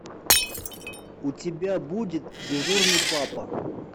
у тебя будет дежурный папа